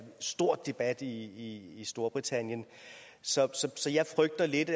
stor debat i storbritannien så jeg frygter lidt